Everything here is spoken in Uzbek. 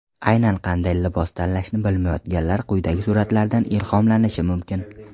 Aynan qanday libos tanlashni bilmayotganlar quyidagi suratlardan ilhomlanishi mumkin.